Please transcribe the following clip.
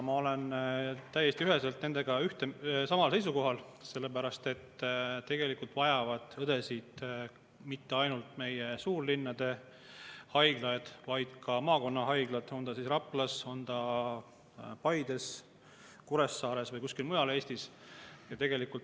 Ma olen täiesti üheselt samal seisukohal, sest tegelikult vajavad õdesid mitte ainult suurlinnade haiglad, vaid ka maakonnahaiglad, on see siis Raplas, on see Paides, Kuressaares või kuskil mujal Eestis.